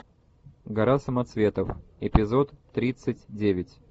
гора самоцветов эпизод тридцать девять